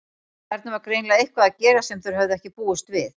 Þarna var greinilega eitthvað að gerast sem þeir höfðu ekki búist við.